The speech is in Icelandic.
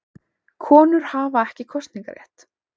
Konur hafa ekki kosningarétt.